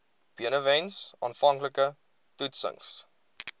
benewens aanvanklike toetsings